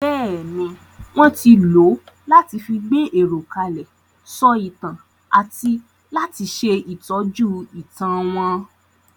Bẹ́ẹ̀ni, wón ti lò ó láti fi gbé èrò kalẹ̀, sọ ìtàn àti láti ṣe ìtọ́jú ìtàn wọn.